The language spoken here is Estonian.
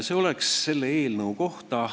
Nii palju sellest eelnõust.